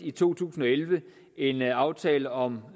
i to tusind og elleve en aftale om